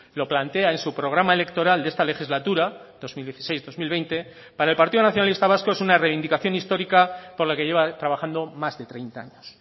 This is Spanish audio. lo plantea en su programa electoral de esta legislatura dos mil dieciséis dos mil veinte para el partido nacionalista vasco es una reivindicación histórica por la que lleva trabajando más de treinta años